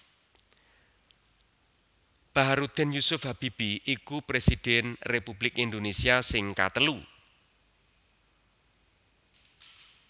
Bacharuddin Jusuf Habibie iku Presiden Republik Indonésia sing katelu